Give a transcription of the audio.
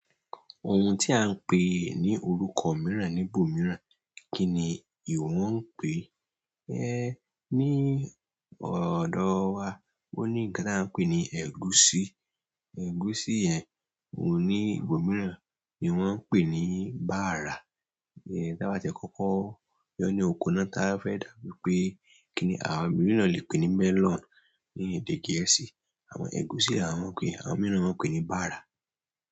Ohun tí à ń pè ní orúkọ mìíràn níbòmíràn, kí ni ìwọ ń pè? Ní ọ̀dọ̀ wa, ó ní ǹkan tí à ń pè ní ẹ̀gúsí. Ẹ̀gúsí yẹn òun ní ìbòmíràn ni wọ́n ń pè ní bara. Tí a bá tẹ̀ kókọ́ yọ ní oko náà táa fẹ́ dàbí pé kí ni àwọn mii náà lè pè melon ní èdè Gẹ̀ẹ́sì. Àwọn ẹ̀gúsí yen, àwọn mi mon pé ní bara.